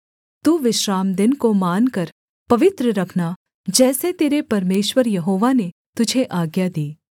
तू विश्रामदिन को मानकर पवित्र रखना जैसे तेरे परमेश्वर यहोवा ने तुझे आज्ञा दी